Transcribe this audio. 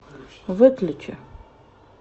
выключи